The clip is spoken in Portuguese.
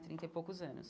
Trinta e poucos anos.